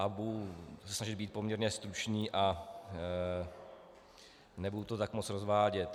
A budu se snažit být poměrně stručný a nebudu to tak moc rozvádět.